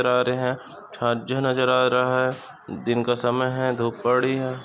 आ रहे है नजर आ रहा है दिन का समय है धूप पड़ी है।